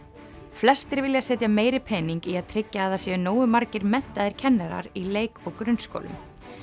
flestir vilja setja meiri pening í að tryggja að það séu nógu margir menntaðir kennarar í leik og grunnskólum